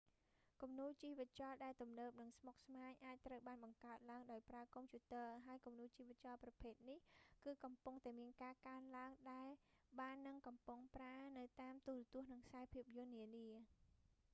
គំនូរជីវចលដែលទំនើបនិងស្មុគស្មាញអាចត្រូវបានបង្កើតឡើងដោយប្រើកុំព្យូទ័រ ហើយគំនូរជីវចលប្រភេទនេះ គឺកំពុងតែមានការកើនឡើងដែលបាននិងកំពុងប្រើនៅតាមទូរទស្សន៍ និងខ្សែភាពយន្តនានា